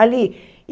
Ali.